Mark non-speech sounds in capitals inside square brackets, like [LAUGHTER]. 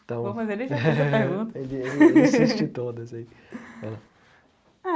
Então, [LAUGHS] ele ele assiste todas aí.